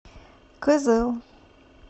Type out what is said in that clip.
кызыл